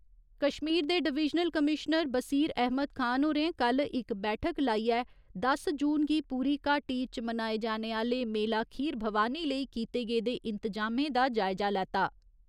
कश्मीर दे divisional commissioner Bashir Ahmad Khan होरें कल्ल इक बैठक लाइयै दस जून गी पूरी घाटी इच मनाए जाने आह्‌ले मेला खीर भवानी लेई कीते गेदे इन्तजामें दा जायजा लैता।